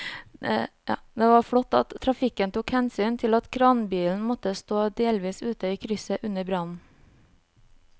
Det var flott at trafikken tok hensyn til at kranbilen måtte stå delvis ute i krysset under brannen.